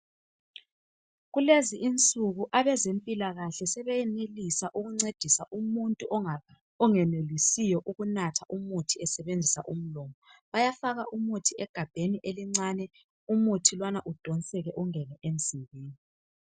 Kulezinsuku abezempilakahle sebesenelisa ukuncedisa umuntu ongenelisiyo ukunatha umuthi esebenzisa umlomo. Bayafaka umuthi egabheni elincane umuthi lowana udonseke ungene emzimbeni